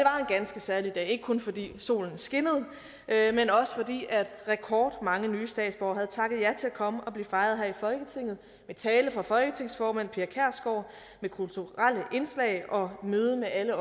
ganske særlig dag ikke kun fordi solen skinnede men også fordi rekordmange nye statsborgere havde takket ja til at komme og blive fejret her i folketinget med tale fra folketingsformand pia kjærsgaard med kulturelle indslag og møde med alle